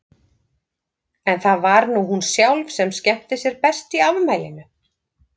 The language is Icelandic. En það var nú hún sjálf sem skemmti sér best í afmælinu.